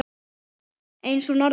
eins og hún orðaði það.